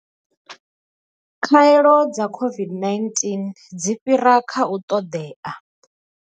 Khaelo dza COVID-19 dzi fhira kha u ṱoḓea.